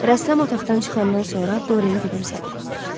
Rəssam otaqdan çıxandan sonra Dorian gülümsədi.